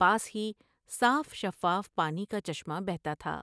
پاس ہی صاف شفاف پانی کا چشمہ بہتا تھا ۔